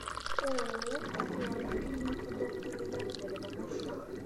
ооо атлант клиника доктора яковлева маршрут